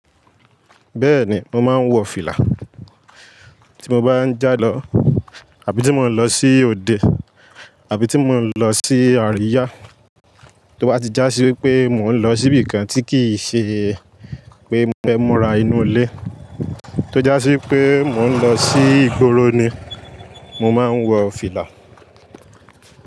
Bẹ́ẹ̀ni, mo máa ń wọ fìlà. Tí mo bá ń jà lọ àbí tí mo ń lọ sí òde àbí tí mo ń lọ sí àríyá. Tí ó bá ti já sí wípé mo ń lọ síbi kan tí kì í ṣe pé mo fẹ́ múra inú ilé, tó já sí wípé mo ń lọ sí ìgboro ni mo máa ń wọ fìlà.